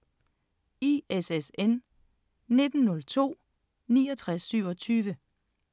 ISSN 1902-6927